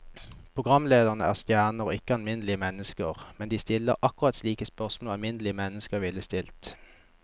Programlederne er stjerner og ikke alminnelige mennesker, men de stiller akkurat slike spørsmål alminnelige mennesker ville stille.